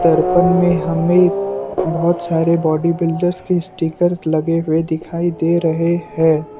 दर्पण में हमें बहुत सारे बॉडीबिल्डर के स्टीकर लगे हुए दिखाई दे रहे हैं।